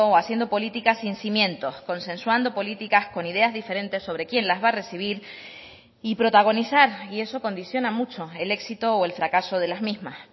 haciendo políticas sin cimientos consensuando políticas con ideas diferentes sobre quién las va a recibir y protagonizar y eso condiciona mucho el éxito o el fracaso de las mismas